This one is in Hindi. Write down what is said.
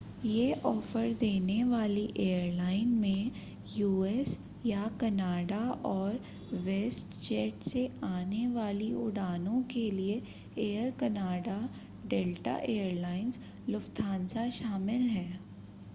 ये ऑफर देने वाली एयरलाइन में यूएस या कनाडा और वेस्टजेट से आने वाली उड़ानों के लिए Air Canada Delta Air Lines Lufthansa शामिल हैं